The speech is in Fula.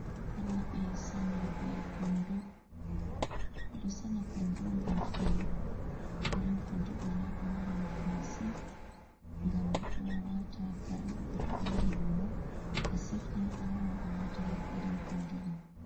Rewɓe sanyooɓe Konndo, ɓe ɗo sanya Konndo ngam filu, iri Konndo ɗo ni ɗo mari nafu masin, ngam ɗo wata kare ba to a yahi Luumo a sefni a waawan a waata haa iri Konndo ɗo.